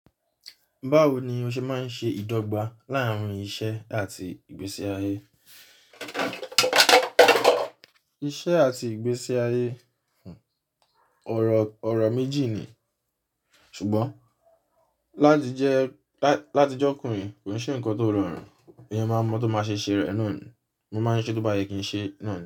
Báwo ni o ṣe máa ń ṣe ìdọ́gba láàrín iṣẹ́ àti ìgbésí ayé? Iṣẹ́ àti ìgbésí ayé, ọ̀rọ̀ méjì ni, ṣùgbọ́n láti jẹ́ ọkùnrin kò n ṣe ǹkan tó rọrùn, eyan máa ń mọ́ tó máa ṣe ṣe rẹ̀ e naa ni. Mo máa ń ṣe tó bá yẹ kí n ṣe na.